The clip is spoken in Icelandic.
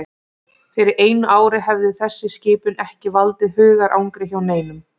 Fyrir einu ári hefði þessi skipun ekki valdið hugarangri hjá neinum.